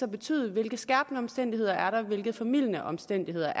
betyde hvilke skærpende omstændigheder der er hvilke formildende omstændigheder